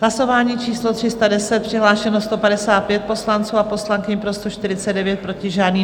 Hlasování číslo 310, přihlášeno 155 poslanců a poslankyň, pro 149, proti žádný.